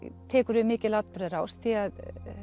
tekur við mikil atburðarás því að